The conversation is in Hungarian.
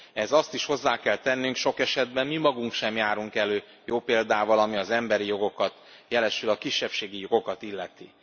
Ehhez azt is hozzá kell tennünk, sok esetben mi magunk sem járunk elő jó példával, ami az emberi jogokat, jelesül a kisebbségi jogokat illeti.